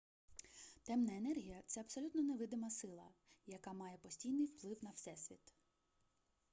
темна енергія це абсолютно невидима сила яка має постійний вплив на всесвіт